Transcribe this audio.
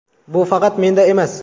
Bu faqat menda emas.